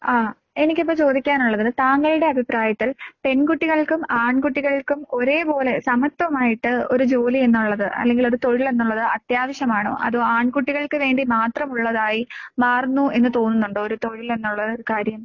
ആഹ് എനിക്കിപ്പോ ചോദിക്കാനൊള്ളത് താങ്കളുടെ അഭിപ്രായത്തിൽ പെൺകുട്ടികൾക്കും ആൺകുട്ടികൾക്കും ഒരേപോലെ സമത്വമായിട്ട് ഒരു ജോലി എന്നുള്ളത് അല്ലെങ്കിൽ ഒരു തൊഴിൽ എന്നുള്ളത് അത്യാവശ്യമാണോ? അതോ ആൺകുട്ടികൾക്ക് വേണ്ടി മാത്രമുള്ളതായി മാറുന്നു എന്ന് തോന്നുന്നുണ്ടോ ഒരു തൊഴിൽ എന്നുള്ള ഒര് കാര്യം?